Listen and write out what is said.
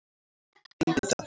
Engidal